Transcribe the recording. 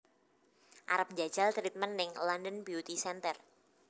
Arep njajal treatment ning London Beauty Center